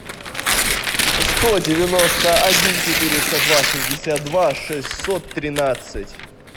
сто девяносто один четыреста два шестьдесят два шестьсот тринадцать